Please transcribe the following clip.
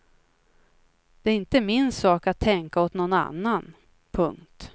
Det är inte min sak att tänka åt någon annan. punkt